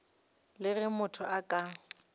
le ge motho a ka